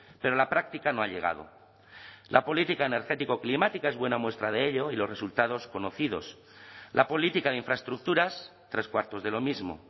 pero la práctica no ha llegado la política energético climática es buena muestra de ello y los resultados conocidos la política de infraestructuras tres cuartos de lo mismo